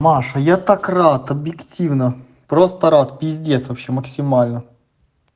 маша я так рад объективно просто рад пиздец вообще максимально